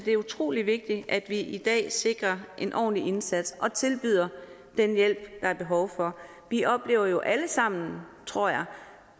er utrolig vigtigt at vi i dag sikrer en ordentlig indsats og tilbyder den hjælp der er behov for vi oplever jo alle sammen tror jeg